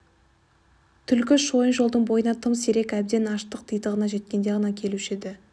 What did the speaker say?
түлкі шойын жолдың бойына тым сирек әбден аштық титығына жеткенде ғана келуші еді